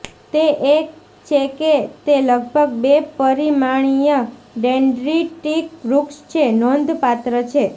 તે એ છે કે તે લગભગ બે પરિમાણીય ડેન્ડ્રિટિક વૃક્ષ છે નોંધપાત્ર છે